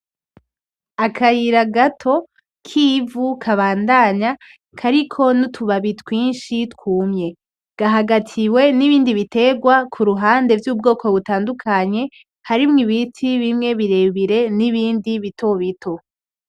Akayira gato k'ivu kabandanya kariko n'utubabi twinshi twumye, gahagatiwe n'ibindi biterwa kuruhande vy'ubwoko butandukanye harimwo ibiti bimwe birebire n'ibindi bitobito.